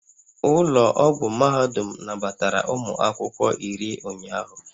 Ụlọ ọgwụ mahadum nabatara ụmụ akwụkwọ iri ụnyaahụ